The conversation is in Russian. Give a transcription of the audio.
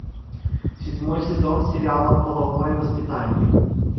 седьмой сезон сериала половое воспитание